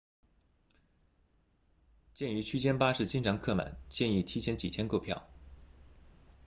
鉴于区间巴士经常客满建议提前几天购票